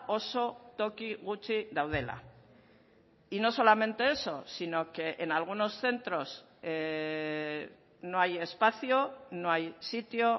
oso toki gutxi daudela y no solamente eso sino que en algunos centros no hay espacio no hay sitio